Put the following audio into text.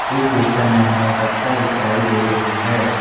इस दृश्य में हमें कक्षा दिखाई दे रही हैं।